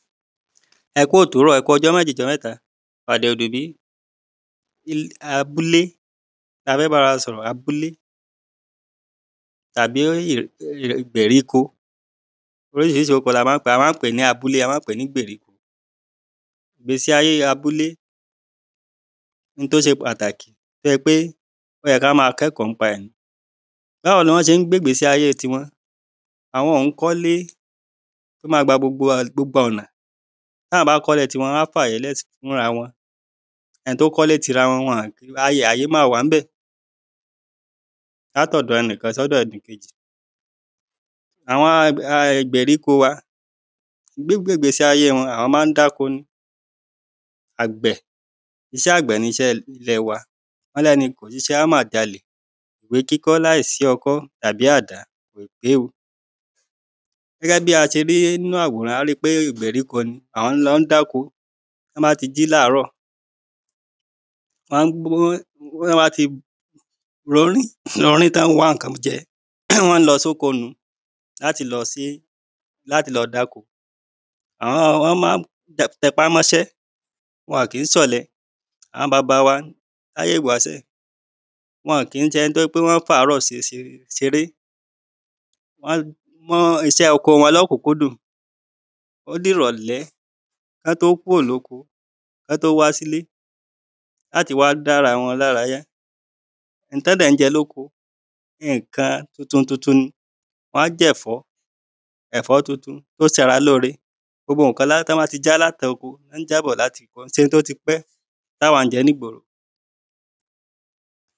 ẹ kú òwúrọ̀, ẹku ọjọ́ méjì ọjọ mẹ́ta, ọ̀dẹ̀òdùbí. Abúlé, a fẹ́ bá ara wa sọ̀rọ abúlé tàbí ìgbérikó oríṣiríṣi orúkọ ni a ma ń pèé, a ma ń pèé ni abúlé, a ma ń pèé ní ìgbéríko, ìgbésí ayé abúlé, ohun tí ó ṣe pàtàkì tí ó jẹ́ pé ó yẹ́ kí a máa kẹ́kọ̀ọ́ nípa rẹ̀ ni Báwo ni wọ́n ṣe ń gbe ìgbésí ayé ti wọn, àwọn ò ń kọ ilé tí ó máa gba gbogbo ọ̀nà, tí àwọn bá kọ́ ilé ti wọn, wọn á fi àyè lẹ̀ fúnra wọ́n ẹni tí ó kọ́ ile ti ara wọn, àyè máa wà ní ibẹ̀ láti ọ̀dọ ẹnìkan sí ẹnìkejì, àwọn ìgbèríko wa gbígbe ìgbésí ayé wọn àwọn ma ń dáko ni, àgbẹ̀, iṣẹ́ àgbẹ̀ ni iṣẹ́ ilẹ̀ wa, wọ́n ní ẹni kò ṣiṣẹ́, á mà jalè, ìwé kíkọ́ láì sí ọkọ́ tàbí àdá kò pé o gẹ́gẹ́ bí a ṣe rí nínu àwòrán, a ríi wípé ìgbéríko ni, wọ́n lọ dáko, tí wọ́n bá ti jí láàrọ, tí wọ́n bá ti fọyín, tí wọ́n wá ǹkan jẹ, wọ́n ń lọ sí oko nùu láti lọ ṣe, láti lọ dáko. wọ́n ma ń tẹpá mọ́ iṣẹ́, wọn ò kií ṣe ọ̀lẹ, àwọn baba wa láye ìwásẹ̀, wọ́n kìí ṣe ẹni tí ó jẹ́ wípé wọ́n fi àárọ̀ ṣeré wọ́n mu iṣẹ́ oko wọn ní òkúnkúdùn, ó di ìrọ̀lẹ́ kí wọ́n tó kúrò ní oko, kí wọ́n tó wá sí ilé láti wa dára wọn lára yá ohun tí wọ́n dẹ̀ ń jẹ́ ní oko, ǹkan tuntun tuntun ni, wọn á jẹ ẹ̀fọ́, ẹ̀fọ́ tuntun tí ó ṣe ara lóore, gbogbo ǹkan tí wọ́n bá ti já bọ̀ láti oko, kìí ṣe ohun tí ó ti pẹ́ tí àwá ń jẹ ní ìgboro